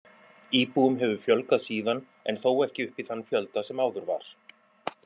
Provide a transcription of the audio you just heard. Íbúum hefur fjölgað síðan en þó ekki upp í þann fjölda sem áður var.